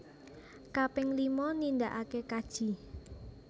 Kaping lima nindaake kaji